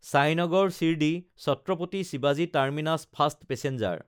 চাইনগৰ শিৰদী–ছাত্ৰাপাতি শিৱাজী terminus fast passenger